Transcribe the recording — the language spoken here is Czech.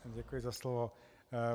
Děkuji za slovo.